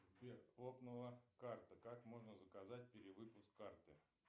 сбер лопнула карта как можно заказать перевыпуск карты